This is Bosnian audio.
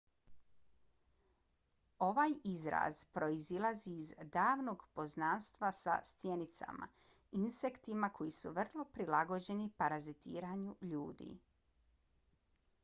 ovaj izraz proizilazi iz davnog poznanstva sa stjenicama insektima koji su vrlo prilagođeni parazitiranju ljudi